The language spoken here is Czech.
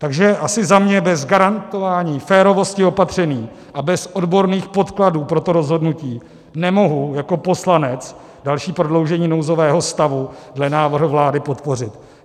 Takže asi za mě - bez garantování férovosti opatření a bez odborných podkladů pro to rozhodnutí nemohu jako poslanec další prodloužení nouzového stavu dle návrhu vlády podpořit.